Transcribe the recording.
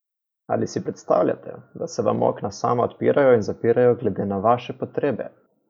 Ali si predstavljate, da se vam okna sama odpirajo in zapirajo glede na vaše potrebe?